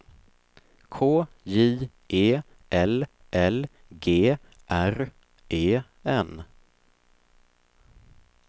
K J E L L G R E N